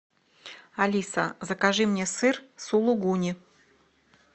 алиса закажи мне сыр сулугуни